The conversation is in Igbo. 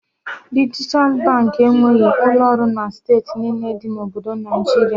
Dijital Baankị enweghị ụlọ ọrụ na steeti niile dị na Obodo Naịjiria